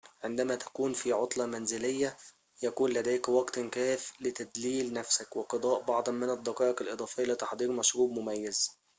عندما تكون في عطلة منزلية يكون لديك وقت كافٍ لتدليل نفسك وقضاء بعضاً من الدقائق الإضافية لتحضير مشروب مميز